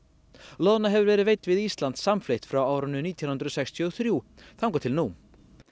loðna hefur verið veidd við Ísland samfleytt frá árinu nítján hundruð sextíu og þrjú þangað til nú